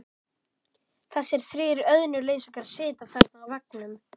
Þessir þrír auðnuleysingjar sitja þarna á veggnum.